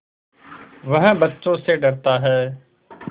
वह बच्चों से डरता है